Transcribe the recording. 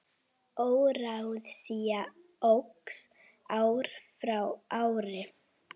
Óráðsía óx ár frá ári.